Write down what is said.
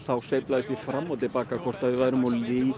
sveiflaðist ég fram og til baka hvort við værum of